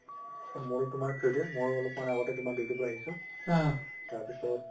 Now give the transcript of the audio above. মোৰো তুমাৰ ময়ো অলপ মান আগতে তুমাৰ duty ৰ পৰা আহিছো তাৰ পিছত